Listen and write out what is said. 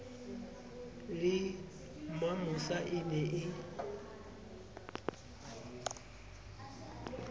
le mamosa e ne e